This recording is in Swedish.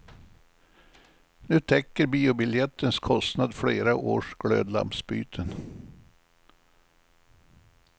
Nu täcker biobiljettens kostnad flera års glödlampsbyten.